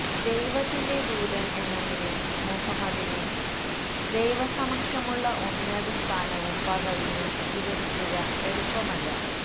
ദൈവത്തിന്റെ ദൂതന് എന്ന നിലയില് മുഹമ്മദിന് ദൈവസമക്ഷമുള്ള ഉന്നതസ്ഥാനവും പദവിയും വിവരിക്കുക എളുപ്പമല്ല